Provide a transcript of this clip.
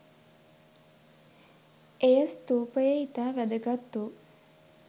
එය ස්තූපයේ ඉතා වැදගත් වූ